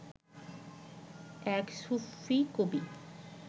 এক সুফি কবি